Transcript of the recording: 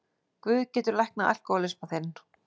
Guð getur læknað alkohólisma þinn.